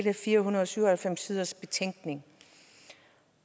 en fire hundrede og syv og halvfems siders betænkning